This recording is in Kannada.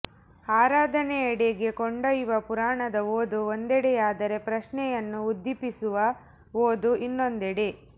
ಆರಾಧನೆಯೆಡೆಗೆ ಕೊಂಡೊಯ್ಯುವ ಪುರಾಣದ ಓದು ಒಂದೆಡೆಯಾದರೆ ಪ್ರಶ್ನೆಯನ್ನು ಉದ್ದೀಪಿಸುವ ಓದು ಇನ್ನೊಂದೆಡೆ